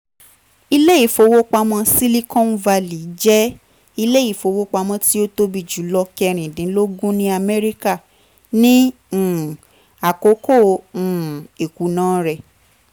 ile-ifowopamọ silicon valley jẹ ile-ifowopamọ ti o tobi julọ kẹrindinlogun ni amẹrika ni um akoko um ikuna rẹ